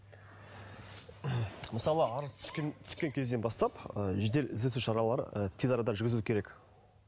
мысалы арыз түскен түскен кезден бастап ы жедел іздестіру шаралары ы тез арада жүргізілуі керек